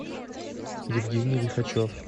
евгений лихачев